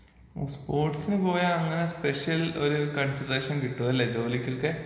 ഉം സ്പോർട്സിന് പോയാ അങ്ങനെ സ്പെഷ്യൽ ഒരു കൺസിഡറേഷൻ കിട്ടുവല്ലെ ജോലിക്കൊക്കെ.